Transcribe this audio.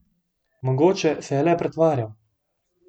Mogoče se je le pretvarjal.